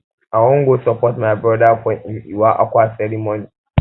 i wan go support my um broda for im iwa akwa ceremony